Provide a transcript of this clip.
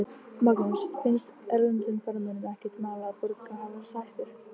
Magnús: Finnst erlendum ferðamönnum ekkert mál að borga háar sektir?